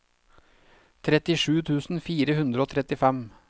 trettisju tusen fire hundre og trettifem